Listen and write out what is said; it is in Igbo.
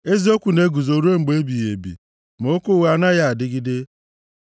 Eziokwu na-eguzo ruo mgbe ebighị ebi, ma okwu ụgha anaghị adịgide.